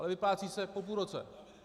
Ale vyplácí se po půl roce.